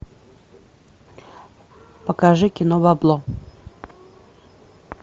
покажи кино бабло